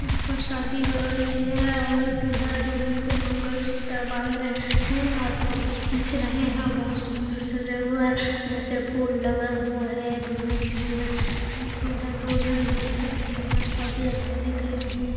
यहा पर शादी हो रहे है और दूल्हा दुल्हन को मंगलसूत्र बांध रहे है ओर फोटो खींच रहे है बहुत सुन्दर सजा हुआ है जैसे फूल लगा हुआ है दुल्हन दुल्हन दूल्हा दुल्हन भी अच्छे दिख रहे है ओर सभी अच्छे दिख रहे है।